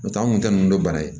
N'o tɛ an kun tɛ nunnu dɔn bana ye